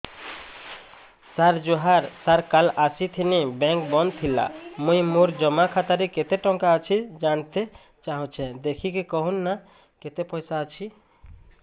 ସାର ଜୁହାର ସାର କାଲ ଆସିଥିନି ବେଙ୍କ ବନ୍ଦ ଥିଲା ମୁଇଁ ମୋର ଜମା ଖାତାରେ କେତେ ଟଙ୍କା ଅଛି ଜାଣତେ ଚାହୁଁଛେ ଦେଖିକି କହୁନ ନା କେତ ପଇସା ଅଛି